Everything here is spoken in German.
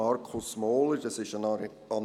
Markus Mohler in Auftrag gegeben.